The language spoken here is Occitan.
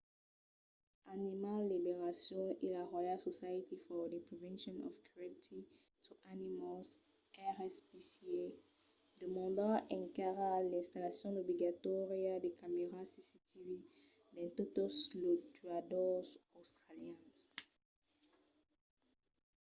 animal liberation e la royal society for the prevention of cruelty to animals rspca demandan encara l’installacion obligatòria de camèras cctv dins totes los tuadors australians